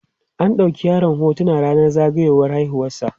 an ɗauki yaron hotuna rannan zagayiwar haihuwar sa